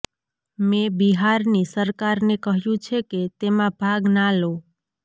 મેં બિહારની સરકારને કહ્યું છે કે તેમાં ભાગ ના લો